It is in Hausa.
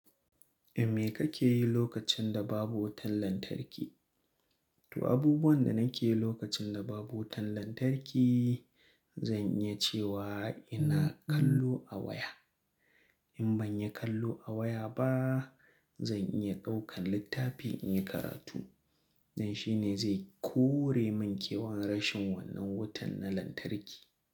Me kake yi lokacin da babu wutan lantarki? To abubuwan da nake yi lokacin da babu wutan lantarki, zan iya cewa ina kallo a waya. In ban yi kallo a waya ba, zan iya ɗaukan littafi in yi karatu. Dan shi ne zai kore min kewan rashin wannan wutan na lantarki.